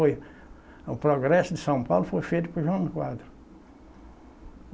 O progresso de São Paulo foi feito por Jânio Quadros.